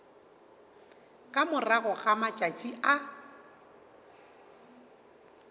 ka morago ga matšatši a